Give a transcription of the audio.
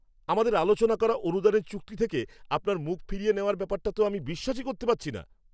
আমাদের আলোচনা করা অনুদানের চুক্তি থেকে আপনার মুখ ফিরিয়ে নেওয়ার ব্যাপারটা তো আমি বিশ্বাসই করতে পারছি না।